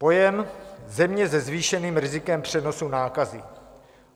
Pojem země se zvýšeným rizikem přenosu nákazy.